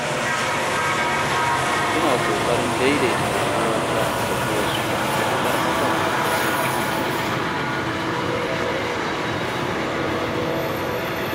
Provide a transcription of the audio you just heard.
Ina ƙoƙarin daidaita rayuwata da ta wasu matuƙar hakan ba zai cutar da ni ba.